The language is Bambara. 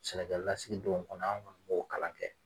Sɛnɛkɛlasigidon kɔnɔ an' kɔni m'o kalan kɛ.